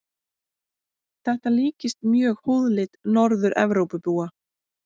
Þetta líkist mjög húðlit Norður-Evrópubúa.